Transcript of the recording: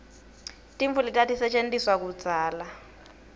tintfo letatisetjentiswa kudzala